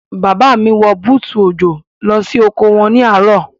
Bàbá mi wọ bútù òjò lọ oko wọn ní àárọ̀.